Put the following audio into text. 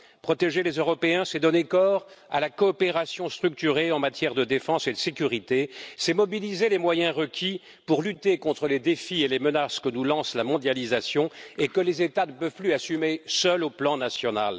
Protéger les Européens, c'est donner corps à la coopération structurée en matière de défense et de sécurité, c'est mobiliser les moyens requis pour lutter contre les défis et les menaces que nous lance la mondialisation et que les États ne peuvent plus assumer seuls au plan national.